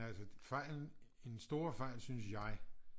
Altså fejlen den store fejl synes jeg